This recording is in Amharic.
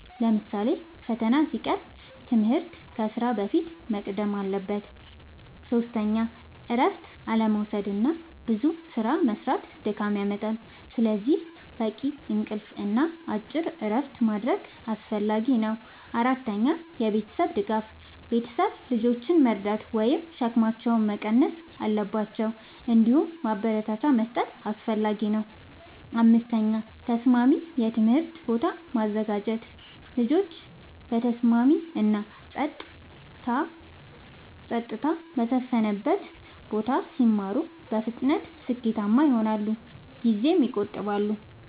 ለምሳሌ ፈተና ሲቀርብ ትምህርት ከስራ በፊት መቅደም አለበት። ፫. እረፍት አለመዉሰድና ብዙ ስራ መስራት ድካም ያመጣል። ስለዚህ በቂ እንቅልፍ እና አጭር እረፍቶች ማድረግ አስፈላጊ ነው። ፬. የቤተሰብ ድጋፍ፦ ቤተሰብ ልጆችን መርዳት ወይም ሸክማቸውን መቀነስ አለባቸው። እንዲሁም ማበረታቻ መስጠት አስፈላጊ ነው። ፭. ተስማሚ የትምህርት ቦታ ማዘጋጀት፦ ልጆች በተስማሚ እና ጸጥታ በሰፈነበት ቦታ ሲማሩ በፍጥነት ስኬታማ ይሆናሉ ጊዜም ይቆጥባሉ።